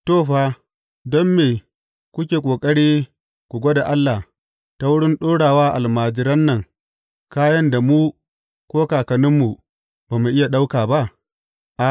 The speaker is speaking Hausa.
To, fa, don me kuke ƙoƙari ku gwada Allah ta wurin ɗora wa almajiran nan kayan da mu ko kakanninmu ba mu iya ɗauka ba?